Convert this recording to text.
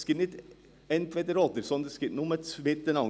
Es gibt nicht ein Entweder-oder, sondern es gibt nur das Miteinander.